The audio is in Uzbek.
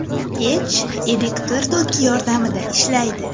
Pech elektr toki yordamida ishlaydi.